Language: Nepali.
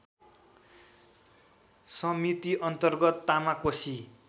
समिति अन्तर्गत तामाकोसी